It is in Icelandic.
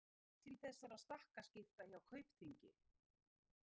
En hvað varð til þessara stakkaskipta hjá Kaupþingi?